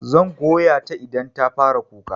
Zan goya ta idan ta fara kuka.